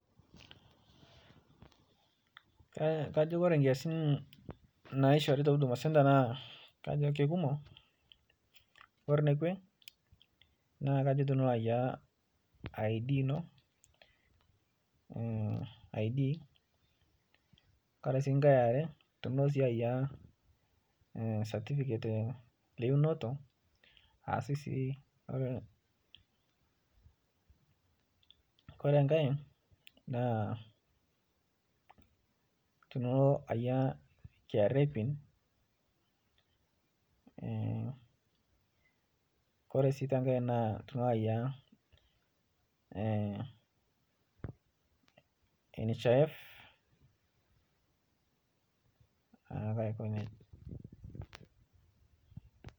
Kajo ore nkiasin naishoori te huduma centre naa kajo kikumok. Ore enekwe naa kajo ilo ayaunye {ID} ino. Tenaa esiai sii e satifiket einoto. Ore enkae naa ilo ayie {KRA PIN}.Ore sii enkae naa iye NHIF.